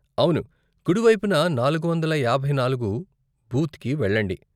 అవును, కుడివైపున నాలుగు వందల యాభై నాలుగు బూత్కి వెళ్ళండి.